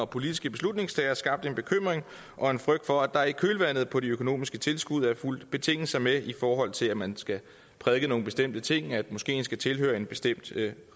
politiske beslutningstagere skabt en bekymring og en frygt for at der i kølvandet på de økonomiske tilskud er fulgt betingelser med i forhold til at man skal prædike nogle bestemte ting og at moskeen skal tilhøre en bestemt